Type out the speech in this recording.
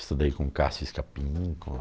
Estudei com Cássio Escapim, com